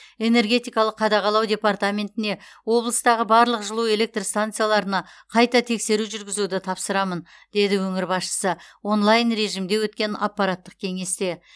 энергетикалық қадағалау департаментіне облыстағы барлық жылу электр станцияларына қайта тексеру жүргізуді тапсырамын деді өңір басшысы онлайн режимде өткен аппараттық кеңесте